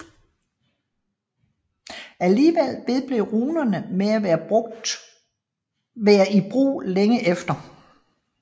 Alligevel vedblev runerne med at være i brug længe efter